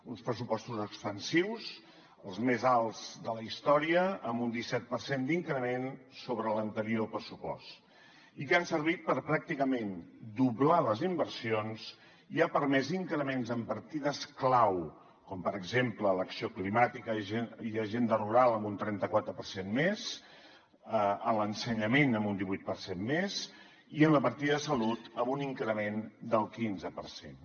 uns pressupostos expansius els més alts de la història amb un disset per cent d’increment sobre l’anterior pressupost i que han servit per pràcticament doblar les inversions i han permès increments en partides clau com per exemple l’acció climàtica i agenda rural amb un trenta quatre per cent més a l’ensenyament amb un divuit per cent més i en la partida de salut amb un increment del quinze per cent